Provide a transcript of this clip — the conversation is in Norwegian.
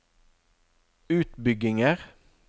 utbygginger